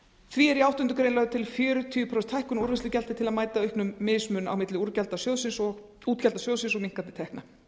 því er í áttundu greinar lögð er til fjörutíu prósent hækkun á úrvinnslugjaldi til að mæta auknum mismun á milli útgjalda sjóðsins og minnkandi tekna